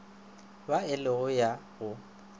ba e le ya go